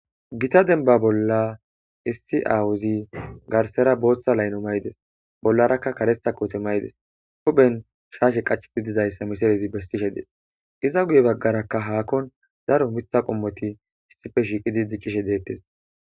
Giththa dembba bolla issi aawazi garsera booththa laynno mayddi bollerakka karetha kooththe mayid huphen shashshe qachid dizayssa missilen besishshe dees. Izza guye bagarakka hakkon daro miiththa qommothi issippe shiqizi dicishshe detheess.